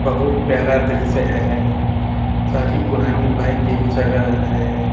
बहुत प्यारा दृश्य है साथ ही पुरानी बाइक एक जगह है।